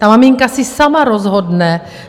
Ta maminka si sama rozhodne.